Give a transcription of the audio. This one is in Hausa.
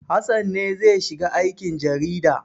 Hassan ne zai shiga aikin jarida.